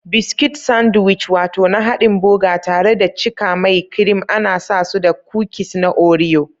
Biscuits Sandwich wato na hadin boga tare da cika mai kirim ana san su da kukis na Oreo.